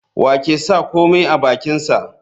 Wa ke sa komai a bakinsa?